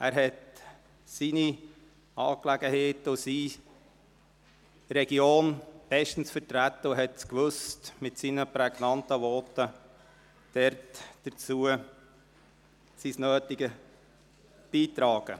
Er vertrat seine Angelegenheiten und seine Region bestens und wusste mit seinen prägnanten Voten das Nötige beizutragen.